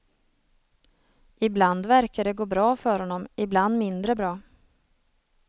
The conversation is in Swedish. Ibland verkar det gå bra för honom, ibland mindre bra.